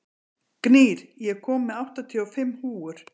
Gnýr, ég kom með áttatíu og fimm húfur!